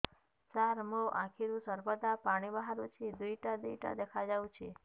ସାର ମୋ ଆଖିରୁ ସର୍ବଦା ପାଣି ବାହାରୁଛି ଦୁଇଟା ଦୁଇଟା ଦେଖାଯାଉଛି